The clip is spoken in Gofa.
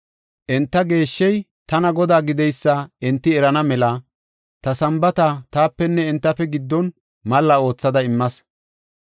Enta geeshshey tana Godaa gideysa enti erana mela, ta Sambaata taapenne entafe giddon malla oothada immas.